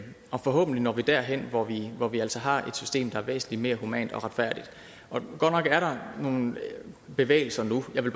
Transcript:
og forhåbentlig når vi derhen hvor vi hvor vi altså har et system der er væsentlig mere humant og retfærdigt godt nok er der nogle bevægelser nu jeg vil